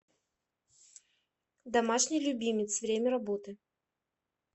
домашний любимец время работы